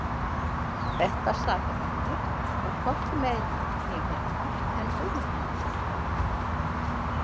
Þetta sakarefni var hvorki meira né minna en Guðmundarmálið.